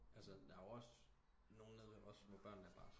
Altså der er jo også nogen nede ved os hvor børnene bare